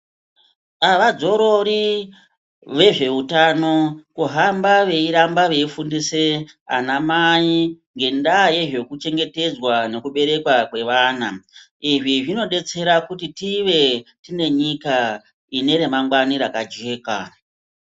Avadzorori vezveutano kuhamba veiramba veifundise ana mai ngendaa yezve kuchengetedzwa nekuberekwa kwevana izvi zvinodetsera kuti tive tine nyika ine remangwani rakajeka.